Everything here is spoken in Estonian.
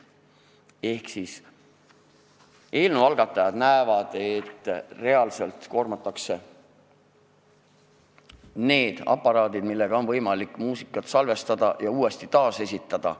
Ehk eelnõu algatajad näevad, et reaalselt koormatakse neid aparaate, millega on võimalik muusikat salvestada ja uuesti esitada.